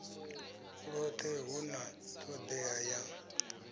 lwothe hu na todea ya